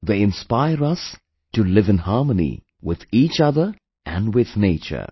They inspire us to live in harmony with each other and with nature